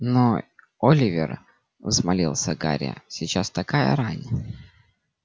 но оливер взмолился гарри сейчас такая рань